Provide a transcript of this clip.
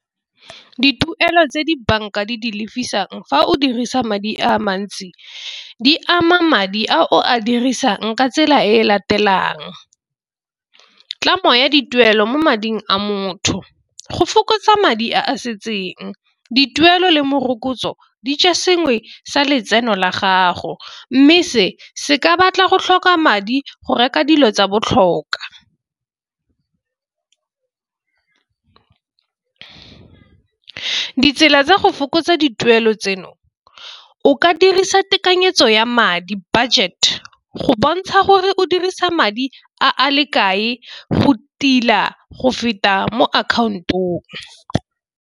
Dituelo tse di banka di di lebisang fa o dirisa madi a mantsi di ama madi a o a dirisang ka tsela e latelang, tlamo ya dituelo mo mading a motho. Go fokotsa madi a setseng dituelo le morokotso di ja sengwe sa letseno la gago mme se se ka batla go tlhoka madi go reka dilo tsa botlhokwa. Ditsela tsa go fokotsa dituelo tseno o ka dirisa tekanyetso ya madi budget go bontsha gore o dirisa madi a a le kae go tila go feta mo account-ong.